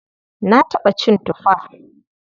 Na taɓa cin tufa.